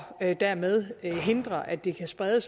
dermed hindre at det kan spredes